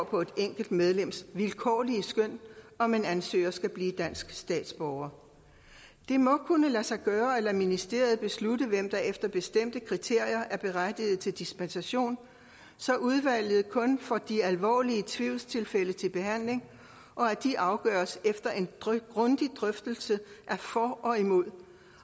på et enkelt medlems vilkårlige skøn om en ansøger skal blive dansk statsborger det må kunne lade sig gøre at lade ministeriet beslutte hvem der efter bestemte kriterier er berettiget til dispensation så udvalget kun får de alvorlige tvivlstilfælde til behandling og at de afgøres efter en grundig drøftelse af for og imod